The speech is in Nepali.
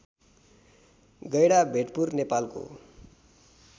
गैढाभेटपुर नेपालको